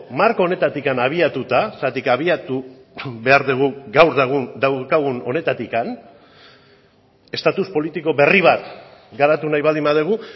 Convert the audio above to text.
marko honetatik habiatuta zergatik abiatu behar dugu gaur daukagun honetatik estatus politiko berri bat garatu nahi baldin badugu